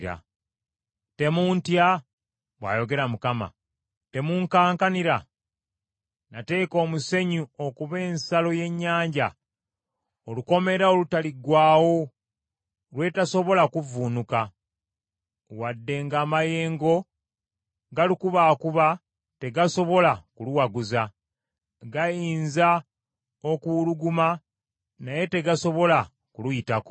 Temuntya?” bw’ayogera Mukama ; “temunkankanira? Nateeka omusenyu okuba ensalo y’ennyanja, olukomera olutaliggwaawo, lwetasobola kuvvuunuka; wadde ng’amayengo galukubaakuba, tegasobola kuluwaguza, gayinza okuwuluguma, naye tegasobola kuluyitako.